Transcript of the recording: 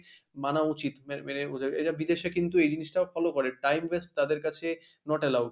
মানা উচিত মেনে মেনে এটা বিদেশে কিন্তু এই জিনিসটাও follow করে time waste তাদের কাছে not allowed।